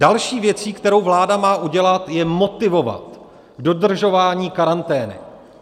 Další věcí, kterou vláda má udělat, je motivovat k dodržování karantény.